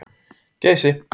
Geysi